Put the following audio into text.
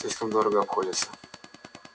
слишком дорого обходится